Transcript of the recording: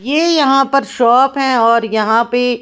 ये यहां पर शॉप है और यहां पे--